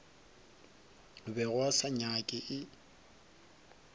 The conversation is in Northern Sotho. bego a se nyaka e